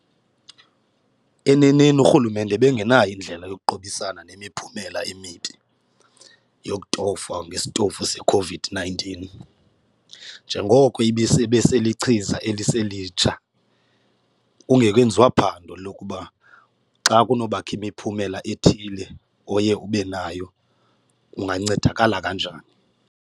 Eneneni urhulumente ebengenayo indlela yokuqubisana nemiphumela emibi yokutofwa ngesitofu seCOVID-nineteen. Njengoko ibeselichiza eliselitsha kungekenziwa phando lokuba xa kunobakho imiphumela ethile oye ube nayo ungancedakala kanjani.